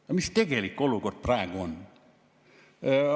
Ja mis tegelik olukord praegu on?